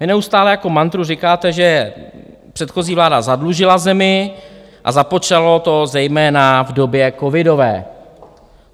Vy neustále jako mantru říkáte, že předchozí vláda zadlužila zemi a započalo to zejména v době covidové.